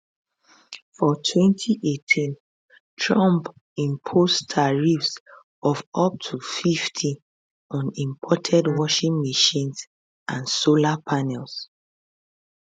for 2018 trump impose tariffs of up to 50 on imported washing machines and solar panels